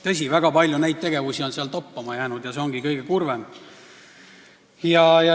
Tõsi, väga paljud nendest tegevustest on toppama jäänud ja see ongi kõige kurvem.